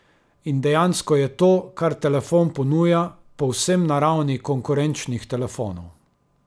In dejansko je to, kar telefon ponuja, povsem na ravni konkurenčnih telefonov.